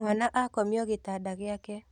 Mwana akomio gĩtanda gĩake.